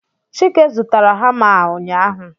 chike zụtara hama a ụnyaahụ